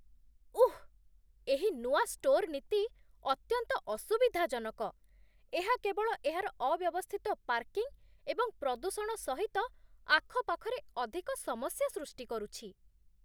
ଉଃ! ଏହି ନୂଆ ଷ୍ଟୋର୍ ନୀତି ଅତ୍ୟନ୍ତ ଅସୁବିଧାଜନକ। ଏହା କେବଳ ଏହାର ଅବ୍ୟବସ୍ଥିତ ପାର୍କିଂ ଏବଂ ପ୍ରଦୂଷଣ ସହିତ ଆଖପାଖରେ ଅଧିକ ସମସ୍ୟା ସୃଷ୍ଟି କରୁଛି